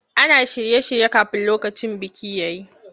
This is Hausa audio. Ana shirye-shirye kafin lokacin biki ya yi.